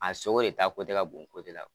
A sogo de ta ka bon la